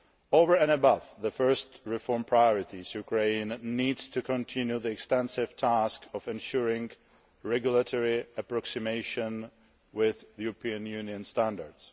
Over and above the first reform priorities, Ukraine needs to continue the extensive task of ensuring regulatory approximation with European Union standards.